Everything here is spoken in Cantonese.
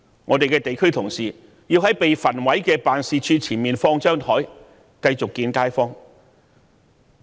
我們的地區同事須在被焚毀的辦事處前面擺放桌子，繼續會見街坊。